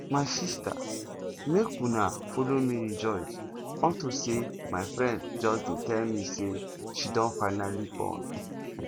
my sister make una follow me rejoice unto say my friend just dey tell me say she don finally born